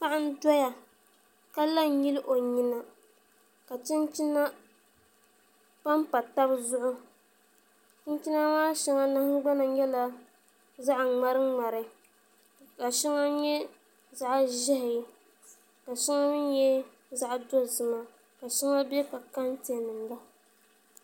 Paɣa n doya ka la n nyili o nyina ka chinchina panpa tabi zuɣu chinchina maa shɛŋa nahangbana nyɛla zaɣ ŋmari ŋmari ka shɛŋa nyɛ zaɣ ʒiɛhi ka shɛŋa mii nyɛ zaɣ dozima ka shɛŋa bɛ ka kɛntɛ nim la